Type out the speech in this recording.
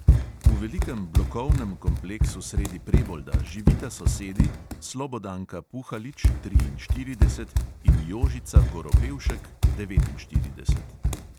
V velikem blokovnem kompleksu sredi prebolda živita sosedi, slobodanka puhalič in jožica goropevšek